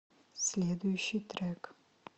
следующий трек